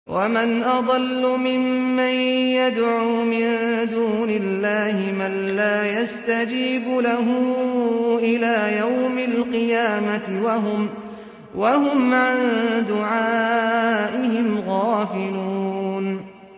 وَمَنْ أَضَلُّ مِمَّن يَدْعُو مِن دُونِ اللَّهِ مَن لَّا يَسْتَجِيبُ لَهُ إِلَىٰ يَوْمِ الْقِيَامَةِ وَهُمْ عَن دُعَائِهِمْ غَافِلُونَ